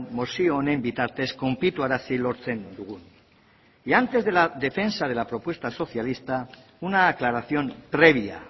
mozio honen bitartez konplituarazi lortzen dugun y antes de la defensa de la propuesta socialista una aclaración previa